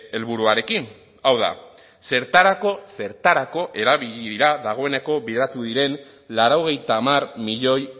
helburuarekin hau da zertarako zertarako erabili dira dagoeneko bideratu diren laurogeita hamar milioi